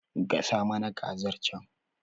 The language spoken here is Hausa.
Gasa mana kazar can